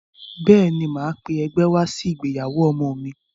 Bẹ́ẹ̀ ní, màá pé ẹgbẹ́ wá sí ìgbéyàwó ọmọ mi.